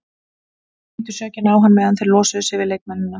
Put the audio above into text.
Þeir klíndu sökinni á hann meðan þeir losuðu sig við leikmennina.